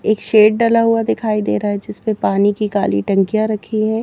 एक शेड डला हुआ दिखाई दे रहा है जिसमें पानी की काली टंकियां रखी हैं।